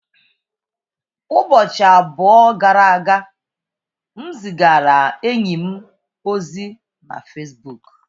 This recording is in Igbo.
Ụbọchị abụọ gara aga, m zigara enyi m ozi na Fesbuk.